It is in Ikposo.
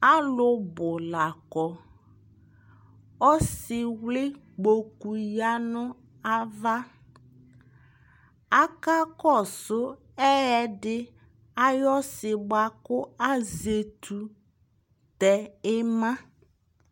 Alʋ bʋ la kɔ ɔsɩwlɩ kpokʋ ya nʋ ava akakɔsʋ ɛyɛdɩ ayʋ ɔsɩ bʋakʋ azɛtʋ dɛ ɩma